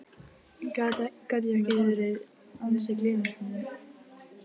Gat ég ekki verið ansi gleyminn stundum?